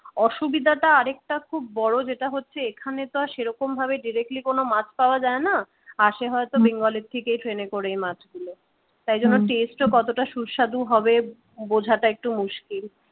অসুবিধাটা আরেকটা খুব বড় যেটা হচ্ছে এখানে তো আর সেরকমভাবে directly কোন মাছ পাওয়া যায় না আসে হয়তো বেঙ্গল এর থেকেই ট্রেনে করে এই মাছগুলো তাই জন্য taste ও কতটা সুস্বাদু হবে বোঝাটা একটু মুশকিল